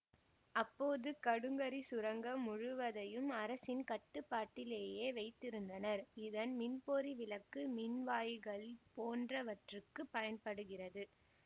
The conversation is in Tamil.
அப்போது கடுங்கரி சுரங்கம் முழுவதையும் அரசின் கட்டுப்பாட்டிலேயே வைத்திருந்தனர் இதன் மின்பொறி விளக்கு மின்வாயிகள் போன்றவற்றிற்குப் பயன்படுகிறது